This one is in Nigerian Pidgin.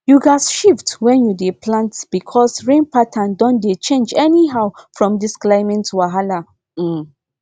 you gats shift when you dey plant because rain pattern don dey change anyhow from this climate wahala um